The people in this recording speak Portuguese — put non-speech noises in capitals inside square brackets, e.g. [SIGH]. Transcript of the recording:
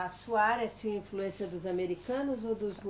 A sua área tinha influência dos americanos ou dos [UNINTELLIGIBLE]